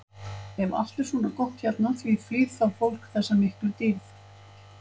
Ef allt er svona gott hérna, því flýr þá fólk þessa miklu dýrð?